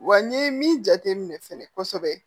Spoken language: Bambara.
Wa n ye min jateminɛ fɛnɛ kosɛbɛ